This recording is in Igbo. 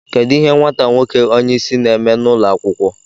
Kedu ihe nwata nwoke onye isi na-eme n'ụlọ akwụkwọ